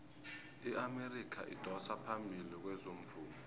iamerika idosa phambili kezomvumo